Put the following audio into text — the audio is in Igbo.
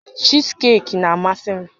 Chiizikeeki na-amasị m